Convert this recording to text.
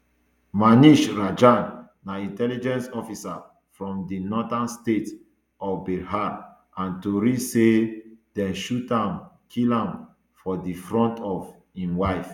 manish ranjan na intelligence officer from di northern state of bihar and tori say dem shoot am kill am for di front of im wife